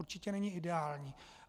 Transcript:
Určitě není ideální.